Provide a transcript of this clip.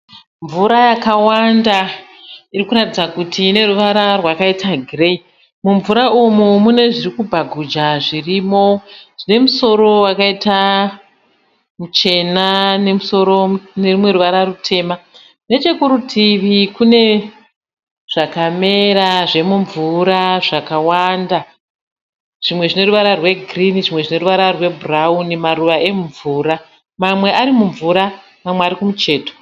Mvura yakwanda iri kuratidza kuti ine ruvara rwakaita gireyi. Mumvura umu mune zviri kubhaguja zvirimo zvine musoro wakaita muchena nerumwe ruvara rutema. Nechekuruti kune zvakamera zvemumvura zvakawanda, zvimwe zvine ruvara rwegirinhi, zvimwe zvine ruvara rwebhurauni, maruva emumvura. Mamwe ari mumvura, mamwe ari kumucheto.